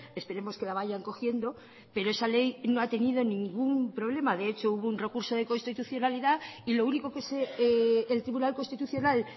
esperemos que la vayan cogiendo pero esa ley no ha tenido ningún problema de hecho hubo un recurso de constitucionalidad y lo único que eltribunal constitucional